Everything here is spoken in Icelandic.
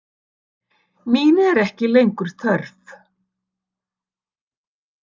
Mín er ekki lengur þörf.